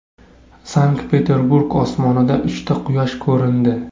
Sankt-Peterburg osmonida uchta Quyosh ko‘rindi .